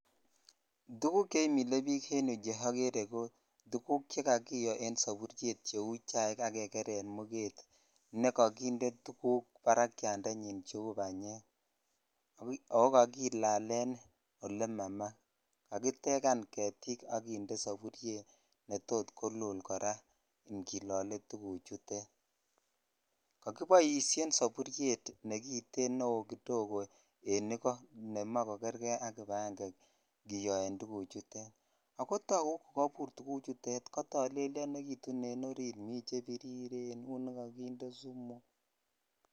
Tuguk cheimile bik en yuu che ogere ko tuguk che kakiyo en soburyet cheu chaik akekren muget nekokinde tuguk barakyandenyi cheu banyek o kakilalen ole ma maa kakitegan getik ak kinde saboryet netot kolul kora ingilole tuguchutet kakiboishen negiten neo kodogo en ikoo nemoe kokerkei ak kibagegee kiyoen tuguchuton ako tagu kukobur tugutet kotolelyonekitun en saburyet mii chebiriren un nekakinde sumu.